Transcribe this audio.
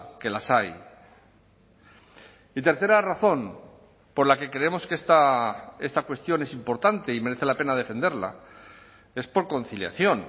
que las hay y tercera razón por la que creemos que está cuestión es importante y merece la pena defenderla es por conciliación